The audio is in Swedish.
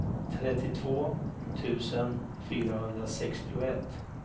trettiotvå tusen fyrahundrasextioett